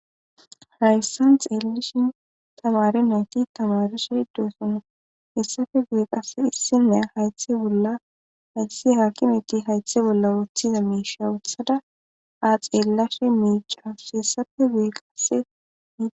hayssan xeellishin tamare nayti tamaresheideessonna hessafe gueeqass issinne haythe bolla hayssi hakimetti haythe bolla wuothiza miisha wuthada aa xeellashe miicaus hessafe gue qasse mi